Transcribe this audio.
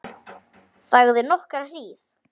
Þagði nokkra hríð.